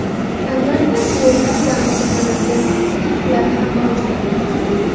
Albatta, suvo‘tlar bilan oziqlanadigan akula turlari ham mavjud.